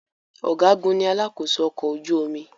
Ọ̀gágun ní alakósó ọkọ̀ ojú omi.